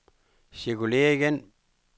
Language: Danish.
cirkulér igen